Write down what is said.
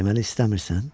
Deməli istəmirsən?